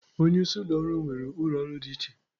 Onye isi ụlọ ọrụ nwere ụlọ ọrụ dị iche.